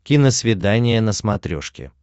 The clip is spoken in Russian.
киносвидание на смотрешке